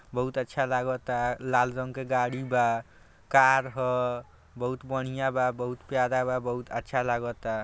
बहुत अच्छा लागता लाल रंग के गाड़ी बा कार ह बहुत बढ़िया बा बहुत प्यारा बा बहुत अच्छा लागता।